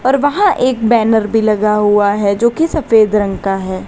और वहां एक बैनर भी लगा हुआ है जो की सफेद रंग का है।